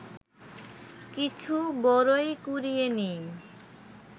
কিছু বরই কুড়িয়ে নিই